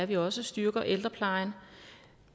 vi også styrker ældreplejen